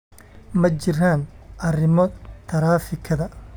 ma jiraan arrimo taraafikada